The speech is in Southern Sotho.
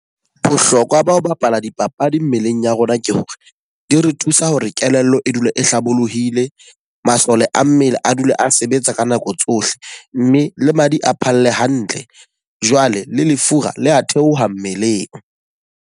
Bohlokwa ba ho bapala dipapadi mmeleng ya rona ke hore, di re thusa hore kelello e dula e hlabolohile. Masole a mmele a dule a sebetsa ka nako tsohle. Mme le madi a phalle hantle. Jwale le lefura le a theoha mmeleng.